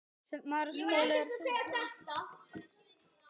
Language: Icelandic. En það er ekki nóg.